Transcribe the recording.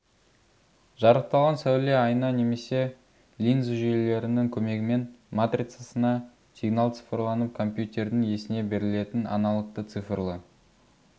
жарықталған сәуле айна немесе линза жүйелерінің көмегімен матрицасына сигнал цифрланып компьютердің есіне берілетін аналогты цифрлі